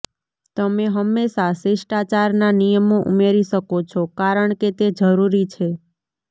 તમે હંમેશાં શિષ્ટાચારના નિયમો ઉમેરી શકો છો કારણ કે તે જરૂરી છે